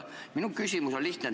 Minu küsimus on lihtne.